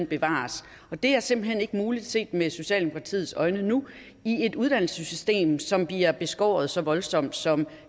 bevares og det er simpelt hen ikke muligt set med socialdemokratiets øjne nu i et uddannelsessystem som bliver beskåret så voldsomt som